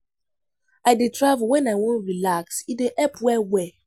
I dey travel wen I I wan relax, e dey help well-well.